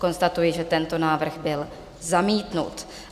Konstatuji, že tento návrh byl zamítnut.